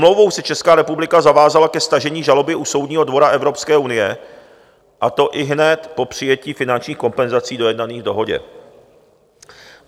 Smlouvou se Česká republika zavázala ke stažení žaloby u Soudního dvora Evropské unie, a to ihned po přijetí finančních kompenzací dojednaných v dohodě.